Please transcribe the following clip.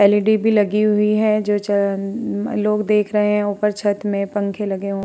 LED भी लगी हुई है जो चन लोग देख रहे हैं। ऊपर छत में पंखे लगे हु --